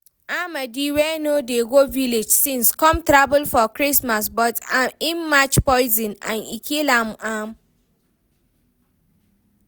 Amadi wey no dey go village since, come travel for christmas but im match poison and e kill am